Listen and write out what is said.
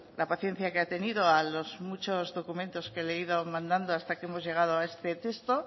la paciencia que ha tenido a los muchos documentos que le he ido mandando hasta que hemos llegado a este texto